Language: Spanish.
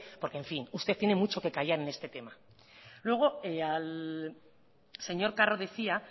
porque en fin usted tiene mucho que callar en este tema luego al señor carro decía